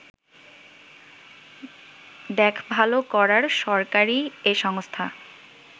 দেখভাল করার সরকারী এ সংস্থা